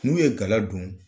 N'u ye gala don.